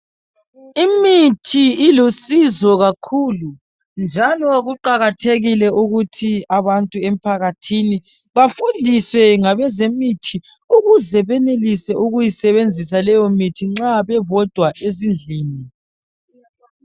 Imithi ilusizo kakhulu njalo kuqakathekile ukuthi abantu emphakathini bafundiswe ngabezemithi ukuze benelise ukuyisebenzisa leyo mithi nxa bebodwa ezindlini